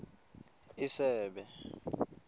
isebe